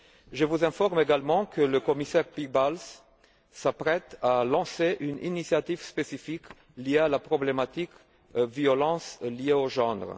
Je vous informe également que le commissaire Piebalgs s'apprête à lancer une initiative spécifique sur la problématique de la violence liée au genre.